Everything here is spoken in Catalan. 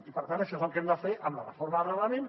i per tant això és el que hem de fer amb la reforma del reglament